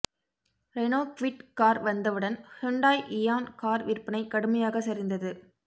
Reno Kwid car வந்தவுடன் Hyundai Eon car விற்பனை கடுமையாக சரிந்தது